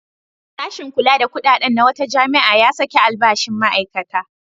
Sashin kula da kuɗaɗen na wata jami'a ya saki albashin ma'aikata.